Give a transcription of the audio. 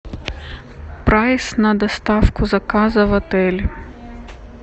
прайс на доставку заказа в отель